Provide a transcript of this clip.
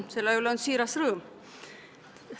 Selle üle on siiras rõõm.